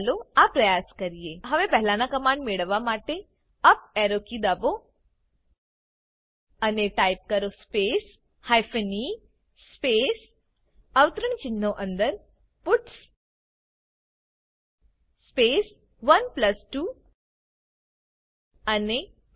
ચાલો આ પ્રયાસ કરીએ હવે પહેલાંના કમાંડ મેળવવા માટે અપ એરો કી દબો અને ટાઈપ કરો સ્પેસ હાયફેન ઇ સ્પેસ અવતરણચિહ્નો અંદર પટ્સ સ્પેસ 12 અને Enter